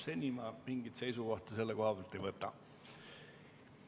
Seni ma mingit seisukohta selle kohta ei võta.